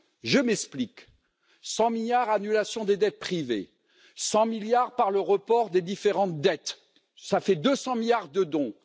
Je m'explique 100 milliards par l'annulation des dettes privées, 100 milliards par le report des différentes dettes, soit 200 milliards de dons